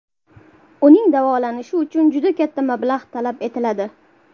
Uning davolanishi uchun juda katta mablag‘ talab etiladi.